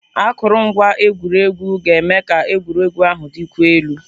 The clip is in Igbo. Akụrụngwa egwuregwu ga-eme ka egwuregwu ahụ dịkwuo elu.